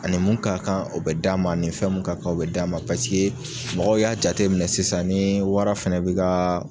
Ani mun ka kan o bɛ d'a ma, ani fɛn mun ka kan o bɛ d'a ma paseke mɔgɔw y'a jateminɛ sisan ni wara fɛnɛ bɛ ka